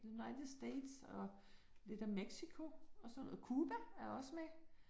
United States og lidt af Mexico og sådan noget. Cuba er også med